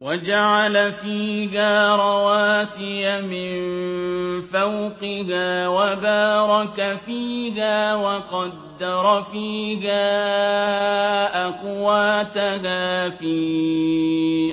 وَجَعَلَ فِيهَا رَوَاسِيَ مِن فَوْقِهَا وَبَارَكَ فِيهَا وَقَدَّرَ فِيهَا أَقْوَاتَهَا فِي